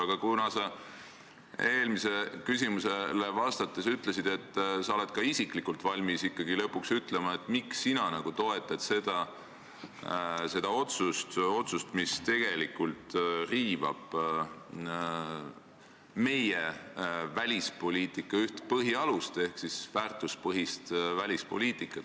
Aga sa eelmisele küsimusele vastates ütlesid, et sa oled ka isiklikult valmis ikkagi lõpuks ütlema, miks sina toetad seda otsust, mis tegelikult riivab meie välispoliitika üht põhialust ehk välispoliitika väärtuspõhisust.